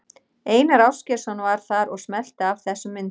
Einar Ásgeirsson var þar og smellti af þessum myndum.